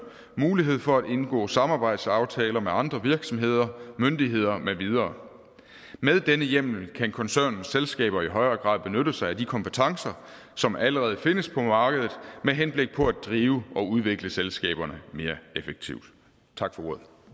mulighed for at indgå samarbejdsaftaler med andre virksomheder myndigheder med videre med denne hjemmel kan koncernens selskaber i højere grad benytte sig af de kompetencer som allerede findes på markedet med henblik på at drive og udvikle selskaberne mere effektivt tak for